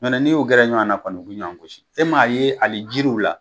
Ɲɔn tɛ ni y'u gɛrɛ ɲɔana kɔni u bi ɲɔan gosi e m'a ye ali jiriw la